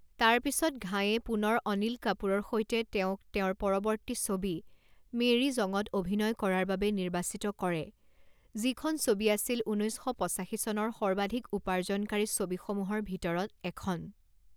তাৰ পিছত ঘাইয়ে পুনৰ অনিল কাপুৰৰ সৈতে তেওঁক তেওঁৰ পৰৱৰ্তী ছবি মেৰী জঙত অভিনয় কৰাৰ বাবে নিৰ্বাচিত কৰে, যিখন ছবি আছিল ঊনৈছ শ পঁচাশী চনৰ সৰ্বাধিক উপাৰ্জনকাৰী ছবিসমূহৰ ভিতৰত এখন।